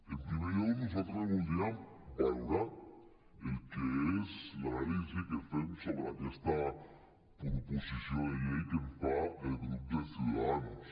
en primer lloc nosaltres voldríem valorar el que és l’anàlisi que fem sobre aquesta proposició de llei que ens fa el grup de ciudadanos